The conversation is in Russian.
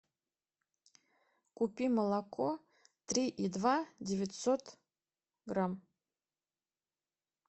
купи молоко три и два девятьсот грамм